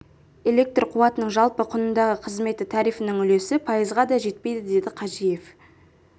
электр қуатының жалпы құнындағы қызметі тарифінің үлесі пайызға да жетпейді деді қажиев